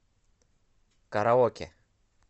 караоке